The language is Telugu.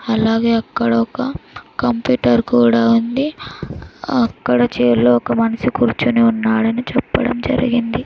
అలాగే అక్కడ ఒక కంప్యూటర్ కూడా ఉంది అక్కడ ఛైర్ లో ఒక మనిషి కూర్చొని ఉన్నాడని చెప్పడం జరిగింది.